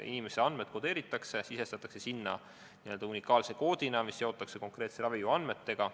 Inimese andmed kodeeritakse ja sisestatakse n-ö unikaalse koodina, mis seotakse konkreetse ravijuhu andmetega.